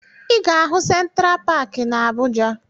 Ị ga-ahụ Sentra Paakị na Abuja